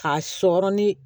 K'a sɔɔrɔnin